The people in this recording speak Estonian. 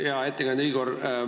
Hea ettekandja Igor!